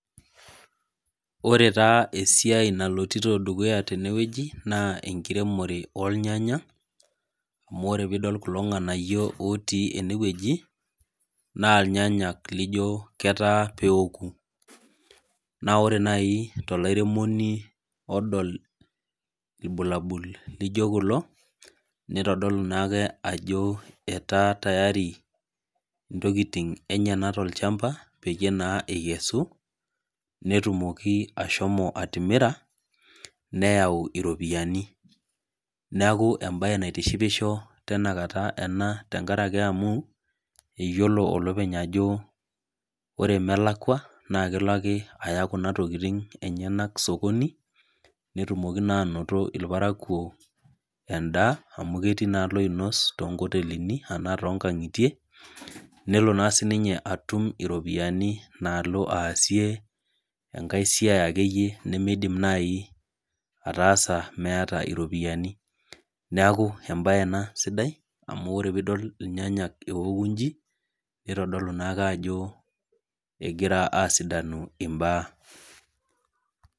Ore taa esiai nalotito dukuya tenewueji, naa enkiremore ornyanya, amu ore pidol kulo ng'anayio otii enewueji, naa irnyanyak lijo ketaa peoku. Na ore nai tolairemoni odol ilbulabul lijo kulo, nitodolu naake ajo etaa tayari ntokiting enyanak tolchamba, peyie naa ekesu, netumoki ashomo atimira, neeu iropiyiani. Neeku ebae naitishipisho tinakata ena tenkaraki amu, eyiolo olopeny ajo ore melakwa, na kelo ake aya kuna tokiting enyanak sokoni, netumoki naa anoto irparakuo endaa amu ketii naa loinos tonkotelini anaa tonkang'itie, nelo naa sininye atum iropiyiani naalo aasie enkae siai akeyie nimidim nai ataasa meeta iropiyiani. Neeku ebae ena sidai, amu ore pidol irnyanya eoku iji, nitodolu naake ajo egira asidanu imbaa.